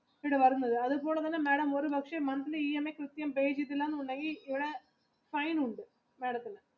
അത് പോലെ തന്നെ madam ഒരു പക്ഷെ monthly EMI pay ചെയ്തിട്ടില്ല എന്നുണ്ടെങ്കിൽ ഇവിടെ fine ഉണ്ട്.